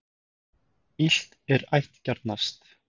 Illt er ættgjarnast.